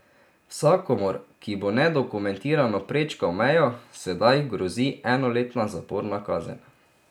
Vsakomur, ki bo nedokumentirano prečkal mejo, sedaj grozi enoletna zaporna kazen.